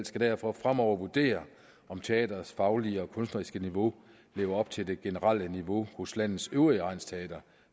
skal derfor fremover vurdere om teatrets faglige og kunstneriske niveau lever op til det generelle niveau hos landets øvrige egnsteatre